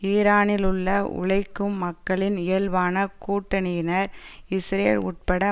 ஈரானிலுள்ள உழைக்கும் மக்களின் இயல்பான கூட்டணியினர் இஸ்ரேல் உட்பட